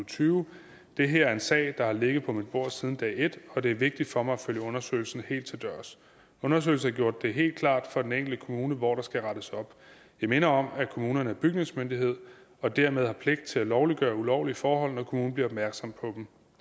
tyve det her er en sag der har ligget på mit bord siden dag et og det er vigtigt for mig at følge undersøgelsen helt til dørs undersøgelsen har gjort det helt klart for den enkelte kommune hvor der skal rettes op jeg minder om at kommunerne er bygningsmyndighed og dermed har pligt til at lovliggøre ulovlige forhold når kommunen bliver opmærksom på dem